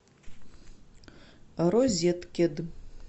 розеткед